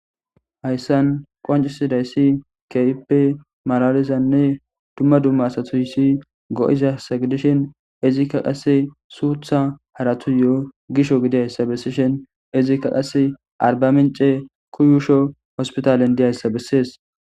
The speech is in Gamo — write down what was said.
hayssan qancisidayssi keehipe malalizanne dumma dumma satoyssi go7izasa gidishin izikka qasse suutha haratu yo7 gisho gidiyayssa bessishin izikka qasse arba mince kuyusho hospitalen diyayssa bessees